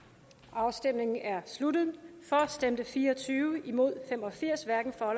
afstemningen er sluttet for stemte fire og tyve imod fem og firs hverken for